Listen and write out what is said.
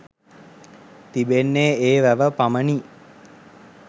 තිබෙන්නේ ඒ වැව පමණි.